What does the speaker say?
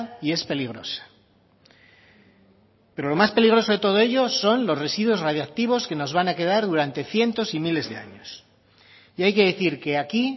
y es peligrosa pero lo más peligroso de todo ello son los residuos radiactivos que nos van a quedar durante cientos y miles de años y hay que decir que aquí